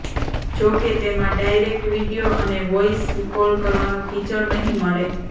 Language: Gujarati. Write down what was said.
જોકે તેમાં ડાયરેક્ટ વીડિયો અને વોયસ કોલ કરવાનું ફીચર નહીં મળે